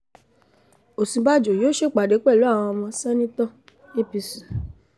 òsínbàjò yóò ṣèpàdé pẹ̀lú àwọn ọmọ senator apc